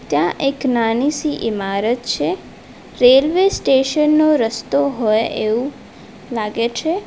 ત્યાં એક નાની સી ઇમારત છે રેલ્વે સ્ટેશન નો રસ્તો હોય એવું લાગે છે.